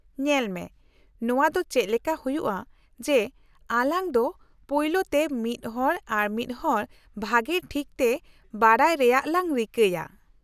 -ᱧᱮᱞ ᱢᱮ, ᱱᱚᱶᱟ ᱫᱚ ᱪᱮᱫ ᱞᱮᱠᱟ ᱦᱩᱭᱩᱜᱼᱟ ᱡᱮ ᱟᱞᱟᱝ ᱫᱚ ᱯᱳᱭᱞᱳᱛᱮ ᱢᱤᱫ ᱦᱚᱲ ᱟᱨ ᱢᱤᱫᱦᱚᱲ ᱵᱷᱟᱹᱜᱤ ᱴᱷᱤᱠ ᱛᱮ ᱵᱟᱰᱟᱭ ᱨᱮᱭᱟᱜ ᱞᱟᱝ ᱨᱤᱠᱟᱹᱭᱟ ?